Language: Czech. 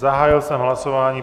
Zahájil jsem hlasování.